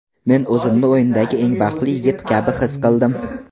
Men o‘zimni o‘yindagi eng baxtli yigit kabi his qildim.